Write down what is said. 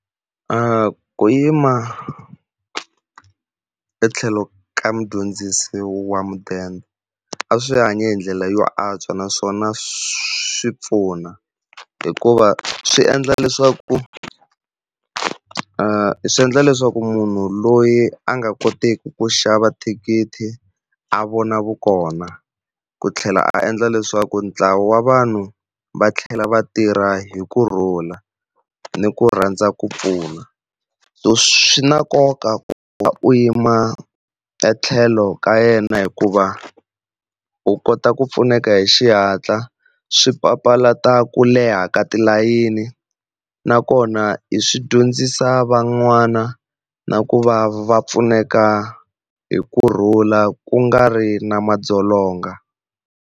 ku yima etlhelo ka mudyondzisi wa mudende a swi hanya hi ndlela yo antswa naswona swi pfuna, hikuva swi endla leswaku endla leswaku munhu loyi a nga koteki ku xava thikithi a vona vukona ku tlhela a endla leswaku ntlawa wa vanhu va tlhela va tirha hi kurhula ni ku rhandza ku pfuna. So swi na nkoka ku va u yima etlhelo ka yena hikuva u kota ku pfuneka hi xihatla, swi papalata ku leha ka tilayini nakona swi dyondzisa van'wana na ku va va pfuneka hi kurhula ku nga ri na madzolonga.